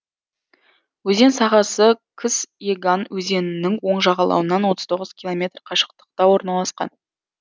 өзен сағасы кыс еган өзенінің оң жағалауынан отыз тоғыз километр қашықтықта орналасқан